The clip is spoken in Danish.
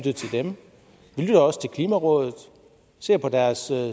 lytter også til klimarådet og ser på deres